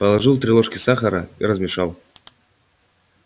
положил три ложки сахара и размешал